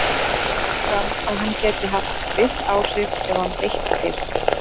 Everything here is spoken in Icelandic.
Þó kom fram að hann gæti haft viss áhrif ef hann beitti sér.